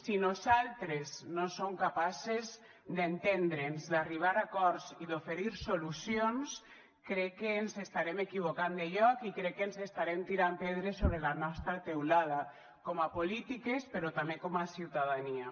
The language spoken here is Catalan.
si nosaltres no som capaces d’entendre’ns d’arribar a acords i d’oferir solucions crec que ens estarem equivocant de lloc i crec que ens estarem tirant pedres sobre la nostra teulada com a polítiques però també com a ciutadania